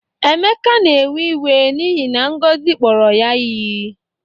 Emeka na-ewe iwe n'ihi na Ngozi kpọrọ ya iyi.